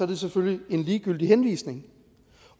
det selvfølgelig en ligegyldig henvisning